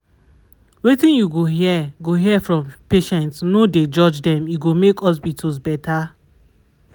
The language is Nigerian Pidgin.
wetin you go hear go hear from patients no dey judge dem e go make hospitals better.